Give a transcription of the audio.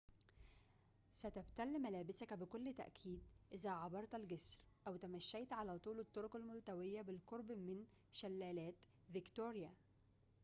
ستبتل ملابسك بكل تأكيد إذا عبرت الجسر أو تمشيت على طول الطرق الملتوية بالقرب من شلالات فيكتوريا